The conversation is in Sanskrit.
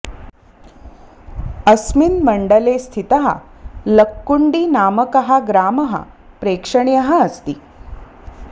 अस्मिन् मण्डले स्थितः लक्कुन्डि नामकः ग्रामः प्रेक्षणीयः अस्ति